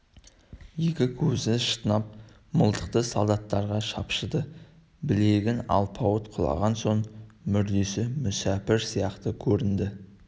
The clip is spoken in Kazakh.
екі көзі шатынап мылтықты солдаттарға шапшыды білеген алпауыт құлаған соң мүрдесі мүсәпір сияқты көрінді